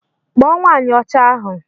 Kpọ nwanyi ọcha ahu!!